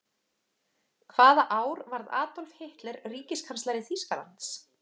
Hvaða ár varð Adolf Hitler ríkiskanslari Þýskalands?